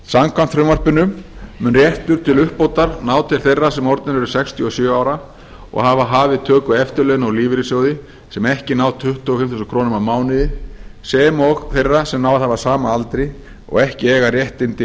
samkvæmt frumvarpinu mun réttur til uppbótar ná til þeirra sem orðnir eru sextíu og sjö ára og hafa hafið töku eftirlauna úr lífeyrissjóði sem ekki ná tuttugu og fimm þúsund krónum á mánuði sem og þeirra sem náð hafa sama aldri og ekki eiga réttindi